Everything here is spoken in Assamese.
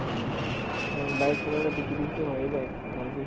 হম । bike চলালে পিঠি বিষ তো হৈয়ে যায়, ককাঁল বিষ